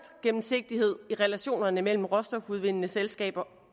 gennemsigtighed i relationerne mellem råstofudvindende selskaber